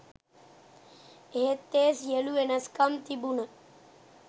එහෙත් ඒ සියළු වෙනස්කම් තිබුණ